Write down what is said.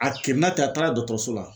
A kirina ten a taara dɔkɔtɔrɔso la